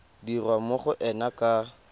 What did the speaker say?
dirwa mo go ena ka